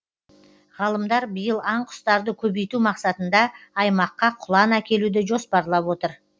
ғалымдар биыл аң құстарды көбейту мақсатында аймаққа құлан әкелуді жоспарлап отыр